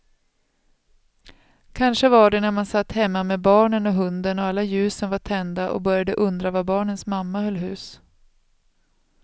Kanske var det när man satt hemma med barnen och hunden och alla ljusen var tända och började undra var barnens mamma höll hus.